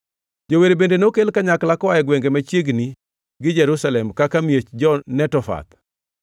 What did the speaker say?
Jower bende nokel kanyakla koa e gwenge machiegni gi Jerusalem kaka miech jo-Netofath,